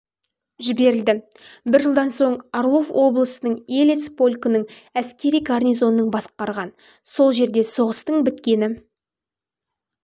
жіберілді бір жылдан соң орлов облысының елец полкінің әскери гарнизоның басқарған сол жерде соғыстың біткені